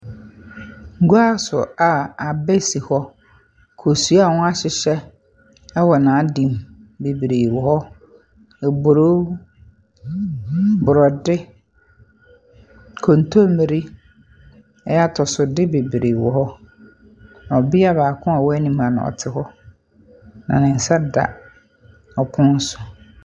Guaso a abɛ si hɔ, kosua wɔahyehyɛ ɛwɔ n'adeɛ mu bebree wɔ hɔ; ɛboro, brɔde, kontomire, ɛyɛ atɔsode bebree wɔ hɔ. Ɔbia baako a ɔwɔ anim ha no ɔte hɔ na ne nsa da ɔpono so.